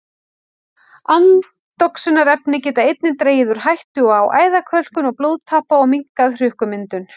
Andoxunarefni geta einnig dregið úr hættu á æðakölkun og blóðtappa og minnkað hrukkumyndun.